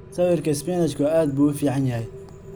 Sawirka isbinaajku aad buu u fiican yahay.